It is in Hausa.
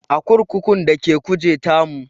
A kurkukun da ke Kuje ta mutu